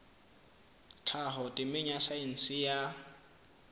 tlhaho temeng ya saense ya